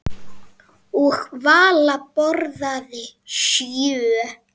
Og Vala borðaði sjö.